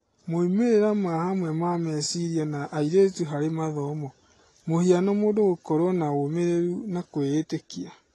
moimĩrĩra ma hamwe ma meciria na airĩtu harĩ mathomo ( mũhiano mũndũ gũkorwo na ũmĩrĩru na kwiĩtĩkia).